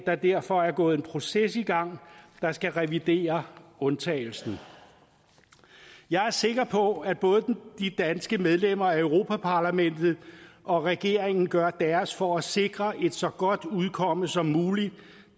der derfor er gået en proces i gang der skal revidere undtagelsen jeg er sikker på at både de danske medlemmer af europa parlamentet og regeringen gør deres for at sikre et så godt udkomme som muligt